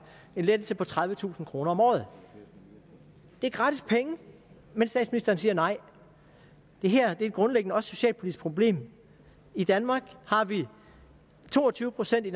en lettelse på tredivetusind kroner om året det er gratis penge men statsministeren siger nej det her er grundlæggende også et socialpolitisk problem i danmark har vi to og tyve procent af